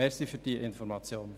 Danke für diese Information.